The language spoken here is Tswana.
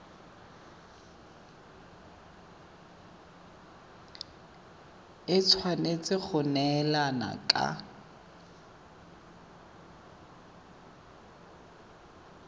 e tshwanetse go neelana ka